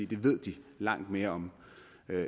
det ved de langt mere om